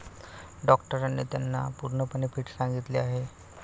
डॉक्टरांनी त्यांना पूर्णपणे फिट सांगितले आहे.